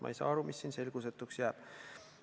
Ma ei saa aru, mis siin selgusetuks jääb.